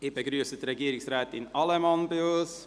Ich begrüsse Regierungsrätin Allemann bei uns.